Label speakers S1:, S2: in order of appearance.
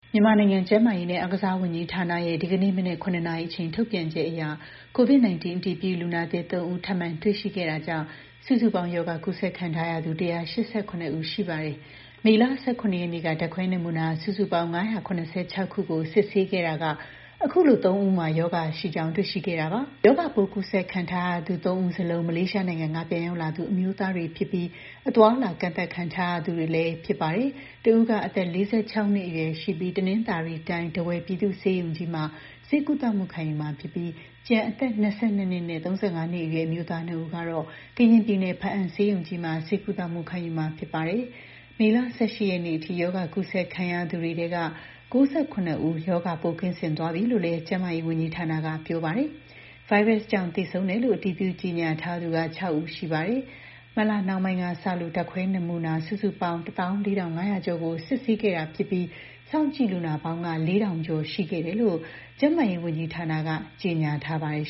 S1: မြန်မာနိုင်ငံ ကျန်းမာရေးနဲ့ အားကစားဝန်ကြီးဌာနရဲ့ ဒီနေ့ မနက် ၇ နာရီအချိန် ထုတ်ပြန်ချက်အရ COVID-19 အတည်ပြု လူနာသစ် ၃ ဦး ထပ်မံ တွေ့ရှိခဲ့တာကြောင့် စုစုပေါင်း ရောဂါ ကူးစက်ခံထားရသူ ၁၈၇ ဦး ရှိပါတယ်။ မေလ ၁၇ ရက်နေ့က ဓါတ်ခွဲနမူနာ စုစုပေါင်း ၅၇၆ ခုကို စစ်ဆေးခဲ့ရာက အခုလို ၃ ဦးမှာ ရောဂါရှိကြောင်း တွေ့ရှိခဲ့တာပါ။ ရောဂါပိုး ကူးစက်ခံရသူတွေထဲ ၃ ဦး စလုံး မလေးရှားနိုင်ငံက ပြန်ရောက်လာသူ အမျိုးသားတွေဖြစ်ပြီး အသွားအလာ ကန့်သတ်ခံထားရသူတွေလည်း ဖြစ်ပါတယ်။ တစ်ဦးက အသက် ၄၆ နှစ်အရွယ်ရှိပြီး တနင်္သာရီတိုင်း ထားဝယ် ပြည်သူ့ ဆေးရုံကြီးမှာ ဆေးကုသ ခံယူမှာဖြစ်ပြီး ကျန် အသက် ၂၂ နဲ့ ၃၅ နှစ်အရွယ် အမျိုးသား ၂ ဦးကတော့ ကရင်ပြည်နယ် ဘားအံဆေးရုံကြီးမှာ ဆေးကုသမှု ခံယူမှာ ဖြစ်ပါတယ်။ မေလ ၁၈ ရက်နေ့အထိ ရောဂါ ကူးစက်ခံရသူတွေထဲက ၉၇ ဦးက ရောဂါပိုးကင်းစင်သွားပြီးလို့လည်း ကျန်းမာရေးဝန်ကြီးဌာနက ပြောပါတယ်။ ဗိုင်းရပ်စ်ကြောင့် သေဆုံးတယ်လို့ အတည်ပြု ကြေညာထားသူက ၆ ဦး ရှိပါတယ်။ မတ်လနှောင်းပိုင်းကစလို့ ဓါတ်ခွဲ နမူနာ စုစုပေါင်း ၁၄,၅၀၀ ကျော်ကို စစ်ဆေးခဲ့တာဖြစ်ပြီး စောင့်ကြည့်လူနာပေါင်းက ၄,၀၀၀ ကျော် ရှိခဲ့တယ်လို့ ကျန်းမာရေး ဝန်ကြီးဌာနက ကြေညာထားပါတယ်